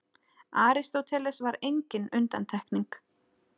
Aristóteles var engin undantekning.